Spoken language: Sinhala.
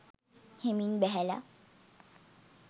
හෙමින් බැහැල